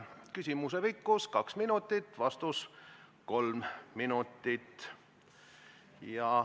Küsimuse pikkus on kaks minutit, vastus kolm minutit.